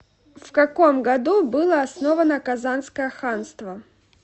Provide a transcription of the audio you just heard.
в каком году было основано казанское ханство